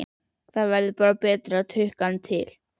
Það hefði verið betra að tukta hann til.